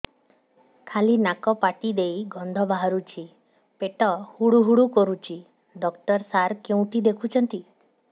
ଖାଲି ନାକ ପାଟି ଦେଇ ଗଂଧ ବାହାରୁଛି ପେଟ ହୁଡ଼ୁ ହୁଡ଼ୁ କରୁଛି ଡକ୍ଟର ସାର କେଉଁଠି ଦେଖୁଛନ୍ତ